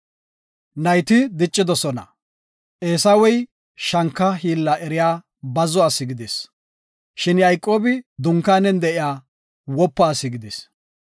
Nayti diccidosona; Eesawey shanka hiilla eriya bazzo ase gidis. Shin Yayqoobi dunkaanen de7iya wopa ase gidis.